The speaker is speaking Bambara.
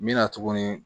N bɛ na tuguni